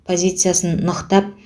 позициясын нықтап